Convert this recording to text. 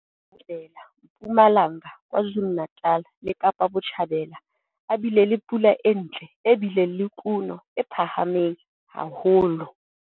Tjhabela Mpumalanga, KwaZulu-Natal le Kapa Botjhabela, a bile le pula e ntle e bileng le kuno e phahameng haholo.